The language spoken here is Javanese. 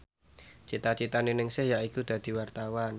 cita citane Ningsih yaiku dadi wartawan